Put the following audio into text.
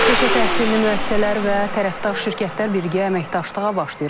Peşə təhsilli müəssisələr və tərəfdaş şirkətlər birgə əməkdaşlığa başlayır.